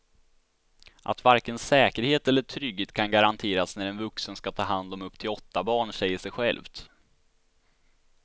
Att varken säkerhet eller trygghet kan garanteras när en vuxen ska ta hand om upp till åtta barn säger sig självt.